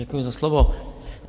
Děkuji za slovo.